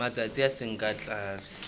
matsatsi a seng ka tlase